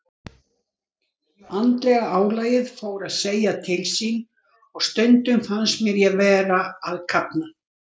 Andlega álagið fór að segja til sín og stundum fannst mér ég vera að kafna.